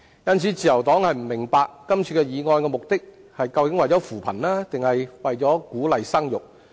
因此，自由黨不明白今次議案的目的究竟是為了扶貧還是為了鼓勵生育。